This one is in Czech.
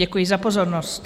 Děkuji za pozornost.